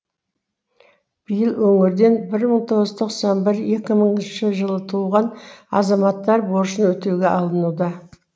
биыл өңірден бір мың тоғыз жүз тоқсан бір екі мыңыншы жылы туған азаматтар борышын өтеуге алынуда